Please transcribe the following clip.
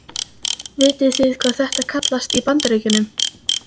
Vitið þið hvað þetta kallast í Bandaríkjunum?